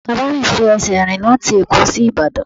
Bàbá mi fi ẹsẹ̀ rìn láti ẹ̀kọ́ sí Ìbàdàn.